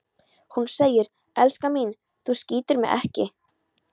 Hún segir: Elskan mín, þú skýtur mig ekki